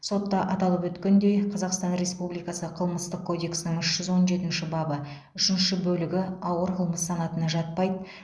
сотта аталып өткендей қазақстан республикасы қылмыстық кодекстің үш жүз он жетінші бабы үшінші бөлігі ауыр қылмыс санатына жатпайды